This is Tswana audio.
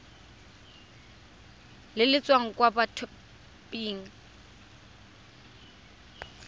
le le tswang kwa mothaping